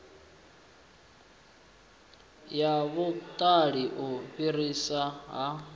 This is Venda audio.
ya vhuṱali u fhiriswa ha